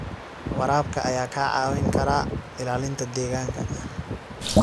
Waraabka ayaa kaa caawin kara ilaalinta deegaanka.